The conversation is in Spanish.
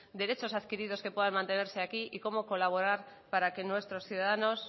adquiridos que puedan mantenerse aquí y cómo colaborar para que nuestros ciudadanos